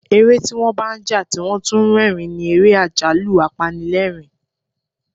Eré tí wọ́n bá ń jà tí wón tún ń rẹ́rìn-ín ni ère àjálù-apanilerin.